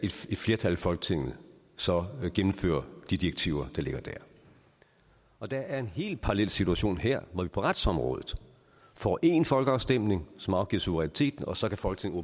et flertal i folketinget så gennemføre de direktiver der ligger dér og der er en helt parallel situation her hvor vi på retsområdet får en folkeafstemning som afgiver suveræniteten og så kan folketinget